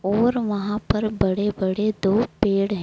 और वहां पर बड़े बड़े दो पेड़ हैं।